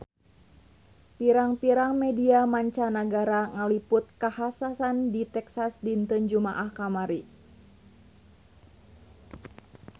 Pirang-pirang media mancanagara ngaliput kakhasan di Texas dinten Jumaah kamari